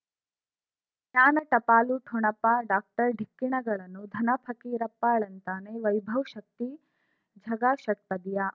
ಜ್ಞಾನ ಟಪಾಲು ಠೊಣಪ ಡಾಕ್ಟರ್ ಢಿಕ್ಕಿ ಣಗಳನು ಧನ ಫಕೀರಪ್ಪ ಳಂತಾನೆ ವೈಭವ್ ಶಕ್ತಿ ಝಗಾ ಷಟ್ಪದಿಯ